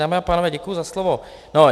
Dámy a pánové, děkuji za slovo.